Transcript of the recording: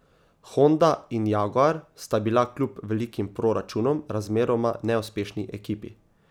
Honda in Jaguar sta bila kljub velikim proračunom razmeroma neuspešni ekipi.